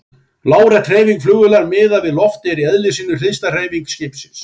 Lárétt hreyfing flugvélar miðað við loft er í eðli sínu hliðstæð hreyfingu skipsins.